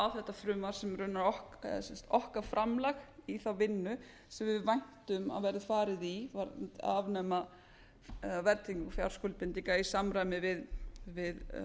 þetta frumvarp sem okkar framlag í þá vinnu sem við væntum að verði farið í að afnema verðtryggingu fjárskuldbindinga í samræmi við